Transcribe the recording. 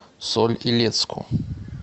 соль илецку